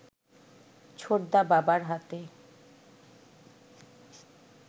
ছোটদা বাবার হাতে